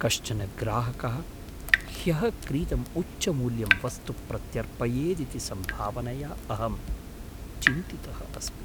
कश्चन ग्राहकः ह्यः क्रीतम् उच्चमूल्यं वस्तु प्रत्यर्पयेदिति सम्भावनया अहं चिन्तितः अस्मि।